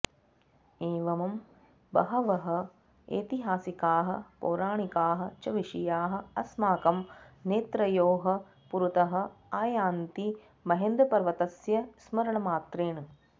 एवं बहवः ऐतिहासिकाः पौराणिकाः च विषयाः अस्माकं नेत्रयोः पुरतः आयान्ति महेन्द्रपर्वतस्य स्मरणमात्रेण